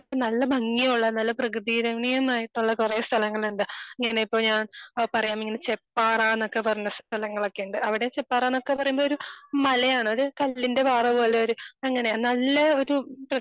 നല്ല ഭംഗിയുള്ള നല്ല പ്രകൃതി രമണീയമായിട്ടുള്ള കുറേ സ്ഥലങ്ങളുണ്ട്. ഇങ്ങനെ ഇപ്പോ ഞാൻ പറയാം ഇങ്ങനെ ചെപ്പാറ എന്ന് ഒക്കെ പറഞ്ഞ സ്ഥലങ്ങളൊക്കെ ഉണ്ട്. അവിടെ ചെപ്പാറ ന്നൊക്കെ പറയുമ്പോ ഒരു മലയാണ്. ഒരു കല്ലിന്റെ പാറ പോലെ ഒരു അങ്ങനെ നല്ല ഒരു